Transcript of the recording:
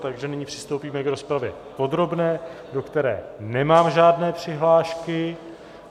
Takže nyní přistoupíme k rozpravě podrobné, do které nemám žádné přihlášky.